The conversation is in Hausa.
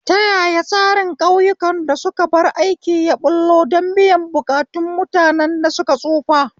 Ta yaya tsarin ƙauyukan da suka bar aiki ya ɓullo don biyan buƙatun mutanen da suka tsufa?